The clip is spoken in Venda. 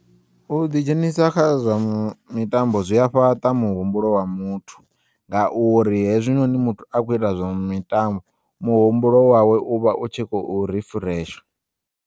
U ḓi dzhenisa kha zwa mitambo zwi ya fhaṱa muhumbulo wa muthu ngauri hezwinoni muthu akhou ita zwa mitambo muhumbulo wawe uvha u tshi khou rifresha.